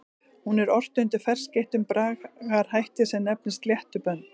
Hún er ort undir ferskeyttum bragarhætti sem nefnist sléttubönd.